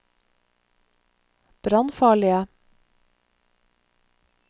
brannfarlige